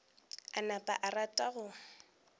a napa a rata go